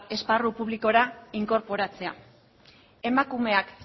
esparru publikora inkorporatzea emakumeak